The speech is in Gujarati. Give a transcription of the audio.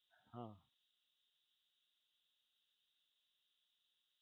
હા